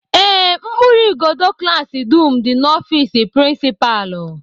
Ee, mkpụrụ igodo klaasị dum dị n'ofịịsị prịnsịpalụ